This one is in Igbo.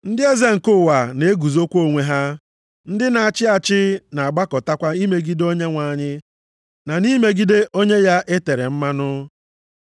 Ndị eze nke ụwa na-eguzokwa onwe ha, ndị na-achị achị na-agbakọtakwa, imegide Onyenwe anyị na imegide Onye ya e tere mmanụ.’ + 4:26 \+xt Abụ 2:1,2\+xt*